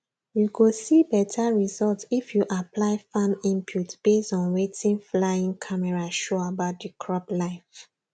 you go see better result if you apply farm inputs based on wetin flying camera show about the crop life